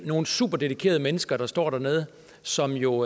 nogle super dedikerede mennesker der står dernede som jo